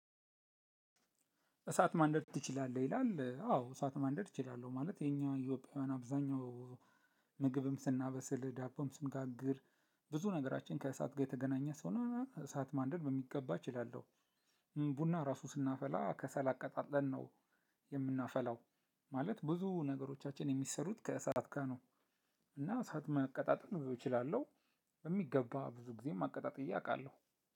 እሳት ማንደድ ትችላለህ? ይላል አዎ እሳት ማንደድ እችላለሁ ማለት እኛ ኢትዮጵያውያን አብዛኛው ምግብም ስናበስል ዳቦም ስንጋግር ብዙ ነገራችን ከእሳት ጋር የተገናኘ ስለሆነ እሳት ማንደድ በሚገባ እችላለሁ። ቡና ራሱ ስናፈላ ከሰል አቀጣጥለን ነው የምናፈላው ማለት ብዙ ነገሮቻችን የሚሰሩት ከእሳት ጋር ነው። እና እሳት ማቀጣጠል እችላለሁ በሚገባ ብዙ ጊዜም አቀጣጥዬ አውቃለሁ።